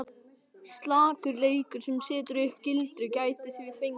Slakur leikur sem setur upp gildru gæti því fengið?!